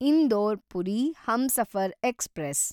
Indore Puri Humsafar express